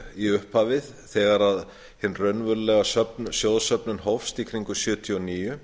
í upphafi þegar hin raunverulega sjóðsöfnun hófst í kringum nítján hundruð sjötíu og níu